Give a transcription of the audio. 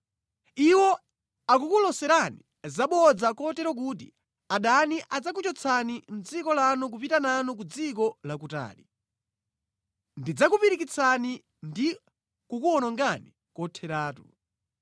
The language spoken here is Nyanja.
Iwo akukuloserani zabodza kotero kuti adani adzakuchotsani mʼdziko lanu nʼkupita nanu ku dziko lakutali. Ndidzakupirikitsani ndi kukuwonongani kotheratu.